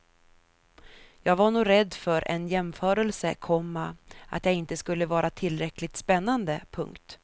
Jag var nog rädd för en jämförelse, komma att jag inte skulle vara tillräckligt spännande. punkt